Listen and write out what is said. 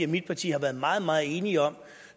mit parti har været meget meget enige om